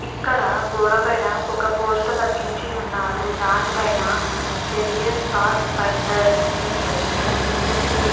ఇక్కడ గోడ పైన ఒక పోస్టర్ అతికించి ఉన్నారు దానిపైన career path finder tenth S. S. C --